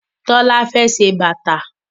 Tola fè ṣe bàtá